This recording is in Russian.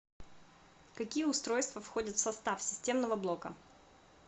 какие устройства входят в состав системного блока